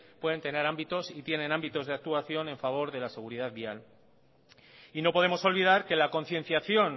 pueden tener ámbitos y tienen ámbitos de actuación a favor de la seguridad vial y no podemos olvidar que la concienciación